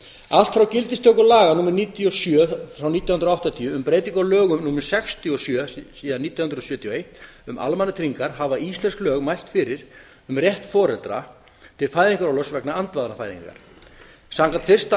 allt frá gildistöku laga númer níutíu og sjö nítján hundruð áttatíu um breytingu á lögum númer sextíu og sjö nítján hundruð sjötíu og eitt um almannatryggingar hafa íslensk lög mælt fyrir um rétt foreldra til fæðingarorlofs vegna andvanafæðingar samkvæmt fyrsta